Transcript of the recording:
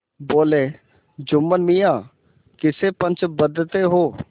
बोलेजुम्मन मियाँ किसे पंच बदते हो